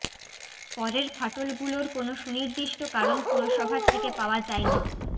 পরের ফাটলগুলোর কোনও সুনির্দিষ্ট কারণ পুরসভার থেকে পাওয়া যায়নি